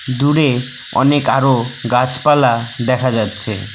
দূরে অনেক আরো গাছপালা দেখা যাচ্ছে।